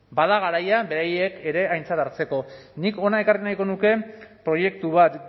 bada garaia beraiek ere aintzat hartzeko nik hona ekarri nahiko nuke proiektu bat